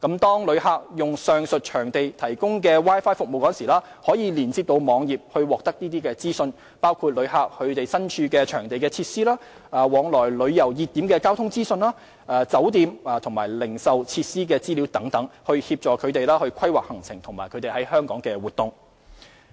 當旅客使用上述場地提供的 Wi-Fi 服務時，可連接網頁獲得資訊，包括旅客身處場地的設施、往來旅遊熱點的交通資訊、酒店及零售設施的資料等，以協助旅客規劃行程及在港活動。